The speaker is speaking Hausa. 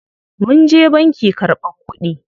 Munje banki karɓan kuɗi.